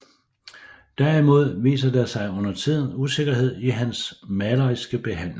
Derimod viser der sig undertiden usikkerhed i hans maleriske behandling